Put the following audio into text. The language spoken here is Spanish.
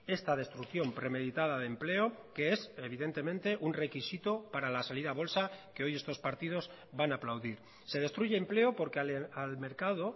esta destrucción premeditada de empleo que es evidentemente un requisito para la salida a bolsa que hoy estos partidos van a aplaudir se destruye empleo porque al mercado